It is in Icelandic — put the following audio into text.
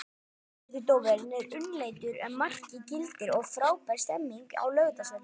Vítaspyrnudómurinn er umdeildur en markið gildir og frábær stemning er á Laugardalsvelli.